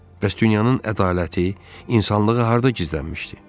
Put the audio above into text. Bəs dünyanın ədaləti, insanlığı harda gizlənmişdi?